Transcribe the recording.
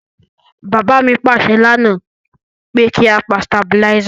Bàbá mi pàsẹ lánáà pe ki a pa stabilizer